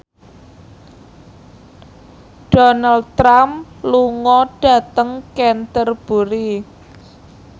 Donald Trump lunga dhateng Canterbury